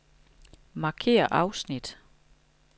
Markér afsnit.